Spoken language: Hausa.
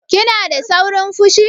Kina da saurin fushi?